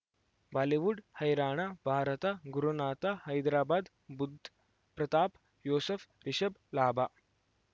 Bollywood ಹೈರಾಣ ಭಾರತ ಗುರುನಾಥ ಹೈದರಾಬಾದ್ ಬುಧ್ ಪ್ರತಾಪ್ ಯೂಸುಫ್ ರಿಷಬ್ ಲಾಭ